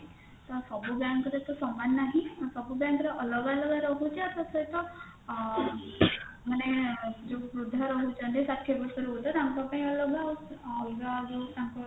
ତ ସବୁ bank ରେ ତ ସମାନ ନାହିଁ ଆଉ ସବୁ bank ର ଅଲଗା ଅଲଗା ରହୁଛି ଆଉ ତା ସହିତ ଅ ମାନେ ଯୋଉ ବୃଦ୍ଧ ରହୁଛନ୍ତି ଷାଠିଏ ବର୍ଷ ରୁ ଉର୍ଦ୍ଧ ତାଙ୍କ ପାଇଁ ଅଲଗା ଆଉ ଅଲଗା ଆଉ ଯୋଉ ତାଙ୍କ